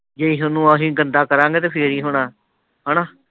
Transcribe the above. ਜੇ ਅਹੀ ਗੰਦਾ ਕਰਾਂਗੇ ਤਾਂ ਫੇਰ ਹੀ ਹੋਣਾ। ਹੈ ਨਾ।